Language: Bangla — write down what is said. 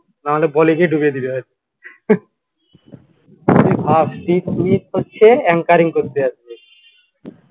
না হলে বল ইসে ওরে ভাই স্মিথ হচ্ছে ancaring করতে যাচ্ছে